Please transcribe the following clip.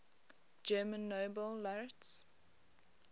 german nobel laureates